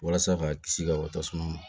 Walasa k'a kisi ka bɔ tasuma ma